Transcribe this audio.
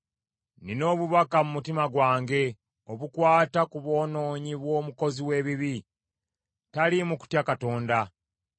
Nnina obubaka mu mutima gwange obukwata ku bwonoonyi bw’omukozi w’ebibi. N’okutya tatya Katonda.